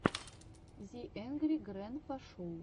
зе энгри грэнпа шоу